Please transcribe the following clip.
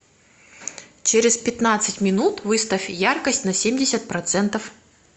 через пятнадцать минут выставь яркость на семьдесят процентов